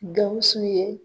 Gawusu ye